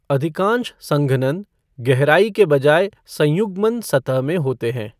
अधिकांश संघनन गहराई के बजाय संयुग्मन सतह में होते हैं।